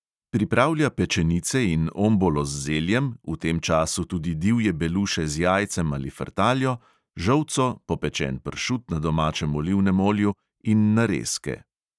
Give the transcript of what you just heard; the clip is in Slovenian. Pripravlja pečenice in ombolo z zeljem, v tem času tudi divje beluše z jajcem ali frtaljo, žolco, popečen pršut na domačem olivnem olju in narezke.